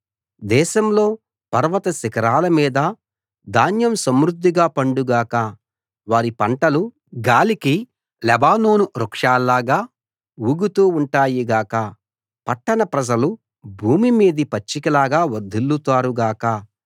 దేశంలో పర్వత శిఖరాల మీదా ధాన్యం సమృద్ధిగా పండు గాక వారి పంటలు గాలికి లెబానోను వృక్షాలలాగా ఊగుతూ ఉంటాయి గాక పట్టణ ప్రజలు భూమి మీది పచ్చికలాగా వర్ధిల్లుతారు గాక